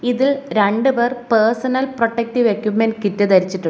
ഇതിൽ രണ്ടുപേർ personal protective equipment kit ധരിച്ചിട്ടു --